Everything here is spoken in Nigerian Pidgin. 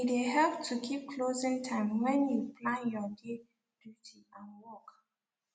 e de help to keep closing time when you plan your day duty and work